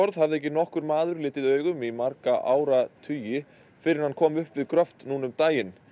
hafði ekki nokkur maður litið augum í marga áratugi fyrr en hann kom upp við gröft um daginn